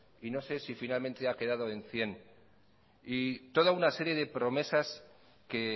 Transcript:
y no sé si finalmente ha quedado en cien y toda una serie de promesas que